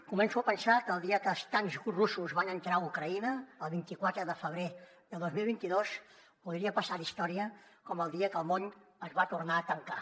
començo a pensar que el dia que els tancs russos van entrar a ucraïna el vint quatre de febrer del dos mil vint dos podria passar a la història com el dia que el món es va tornar a tancar